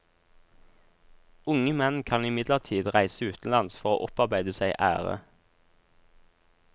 Unge menn kan imidlertid reise utenlands for å opparbeide seg ære.